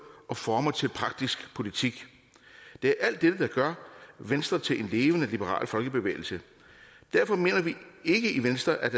og former til praktisk politik det er alt dette der gør venstre til en levende liberal folkebevægelse derfor mener vi ikke i venstre at